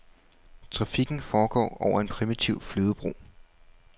Trafikken foregår over en primitiv flydebro.